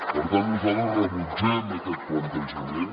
per tant nosaltres rebutgem aquest plantejament